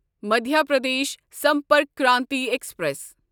Madhya Pradesh Sampark Kranti express